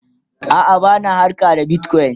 a'a bana harka da bitcoin